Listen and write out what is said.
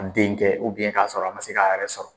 denkɛ k'a sɔrɔ a ma se k'a yɛrɛ sɔrɔ